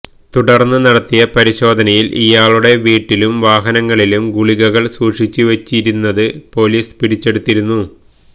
തുടര്ന്ന് നടത്തിയ പരിശോധനയില് ഇയാളുടെ വീട്ടിലും വാഹനത്തിലും ഗുളികകള് സൂക്ഷിച്ചുവെച്ചിരുന്നത് പൊലീസ് പിടിച്ചെടുത്തിരുന്നു